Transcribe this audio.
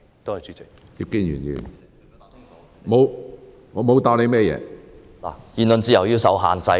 局長剛才答覆時表示，言論自由要受到限制......